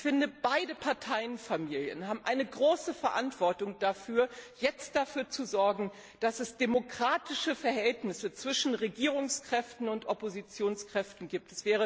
Ich finde, beide Parteienfamilien haben eine große Verantwortung dafür, jetzt dafür zu sorgen, dass es demokratische Verhältnisse zwischen Regierungskräften und Oppositionskräften gibt.